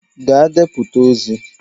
Gaa deputa ozi!